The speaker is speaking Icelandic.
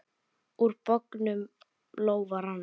Úr bognum lófa rann.